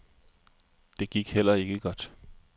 Det gik heller ikke godt.